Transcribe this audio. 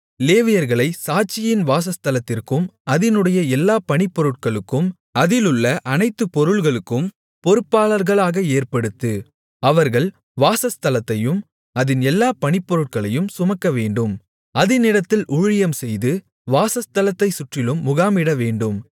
லேவியர்களைச் சாட்சியின் வாசஸ்தலத்திற்கும் அதினுடைய எல்லா பணிப்பொருட்களுக்கும் அதிலுள்ள அனைத்து பொருள்களுக்கும் பொறுப்பாளர்களாக ஏற்படுத்து அவர்கள் வாசஸ்தலத்தையும் அதின் எல்லா பணிப்பொருட்களையும் சுமக்க வேண்டும் அதினிடத்தில் ஊழியம் செய்து வாசஸ்தலத்தைச் சுற்றிலும் முகாமிடவேண்டும்